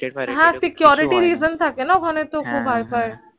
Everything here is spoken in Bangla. কিছু হয় না হ্য়াঁ security reason থাকে না জন্য ওই খানে তো খুব hi phi হ্য়াঁ হ্য়াঁ